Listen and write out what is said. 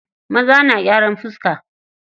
Maza na gyran fiska.